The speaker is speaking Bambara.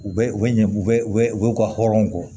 U bɛ u bɛ ɲɛ u bɛ u bɛ u ka hɔrɔnw bɔ